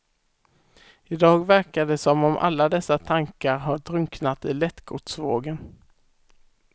Idag verkar det som om alla dessa tankar har drunknat i lättgodsvågen.